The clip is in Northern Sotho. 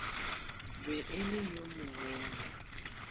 be e le yo mogolo